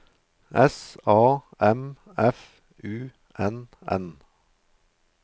S A M F U N N